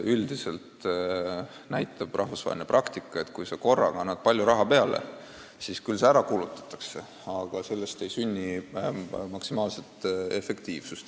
Üldiselt näitab rahvusvaheline praktika, et kui sa korraga annad kuhugi palju raha juurde, siis see kulutatakse küll ära, aga sellest ei sünni maksimaalset efektiivsust.